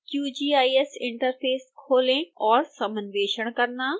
qgis interface खोलें और समन्वेषण करना